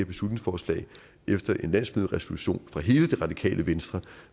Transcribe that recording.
beslutningsforslag efter en landsmøderesolution fra hele det radikale venstre